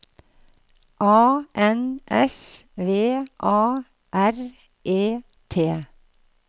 A N S V A R E T